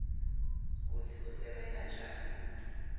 kutsi usebenta njani